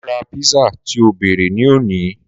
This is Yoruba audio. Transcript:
Máa ra písà tí o bèrè ní òní.